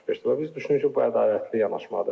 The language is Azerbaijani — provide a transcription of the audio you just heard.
Və biz düşünürük ki, bu ədalətli yanaşmadır.